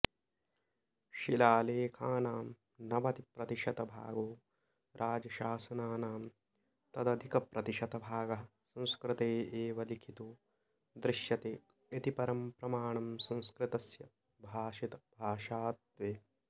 शिलालेखानां नवतिप्रतिशतभागो राजशासनानां तदधिकप्रतिशतभागः संस्कृते एव लिखितो दृश्यते इति परं प्रमाणं संस्कृतस्य भाषितभाषात्वे